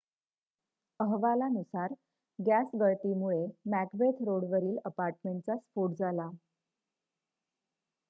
अहवालानुसार गॅस गळतीमुळे मॅकबेथ रोडवरील अपार्टमेंटचा स्फोट झाला